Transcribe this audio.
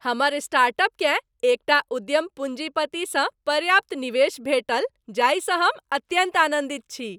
हमर स्टार्टअपकेँ एक टा उद्यम पूँजीपतिसँ पर्याप्त निवेश भेटल जाहिसँ हम अत्यन्त आनन्दित छी।